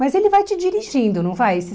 Mas ele vai te dirigindo, não vai esse?